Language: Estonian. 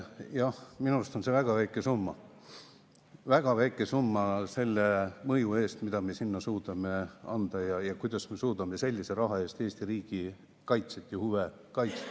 Jah, minu arust on see väga väike summa, väga väike summa selle mõju eest, mida me suudame seal ja kuidas me suudame Eesti riigi kaitset ja huve kaitsta.